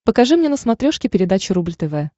покажи мне на смотрешке передачу рубль тв